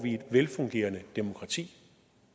et velfungerende demokrati